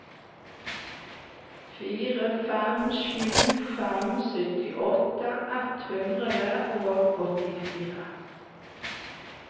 fire fem sju fem syttiåtte ett hundre og åttifire